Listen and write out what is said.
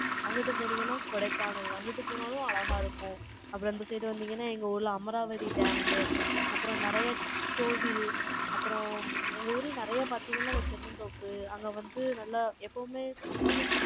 அங்குட்டு போனீங்கன்னா, கொடைக்கானல். அங்கிட்டு போனாலும், அழகா இருக்கும். அப்புறம் இந்த side வந்தீங்கன்னா, எங்க ஊர்ல அமராவதி dam, அப்புறம் நிறைய கோவில், அப்புறம், எங்க ஊர்ல நிறைய பாத்தீங்கன்னா, இந்த தென்னந்தோப்பு, அங்க வந்து, நல்லா, எப்பவுமே சில்லுன்னு,